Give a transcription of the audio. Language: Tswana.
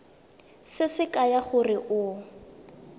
se se kaya gore o